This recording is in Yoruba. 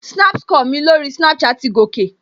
Snap score mi lórí Snapchat ti gòkè